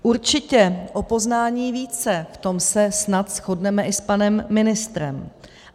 Určitě o poznání více, v tom se snad shodneme i s panem ministrem.